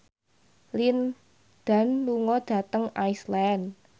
Lin Dan lunga dhateng Iceland